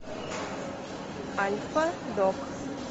альфа дог